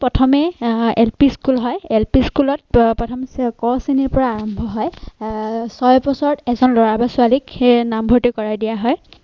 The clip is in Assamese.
প্ৰথমে অঃ LP School হয় LP School ত প্ৰথম ক শ্ৰেণীৰ পৰা আৰম্ভ হয়। অঃ ছয় বছৰত এজন লৰা বা ছোৱালীক সেই নামভৰ্তি কৰাই দিয়া হয়।